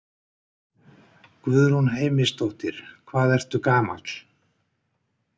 Guðrún Heimisdóttir: Hvað ertu gamall?